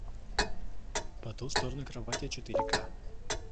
по ту сторону кровати четыре ка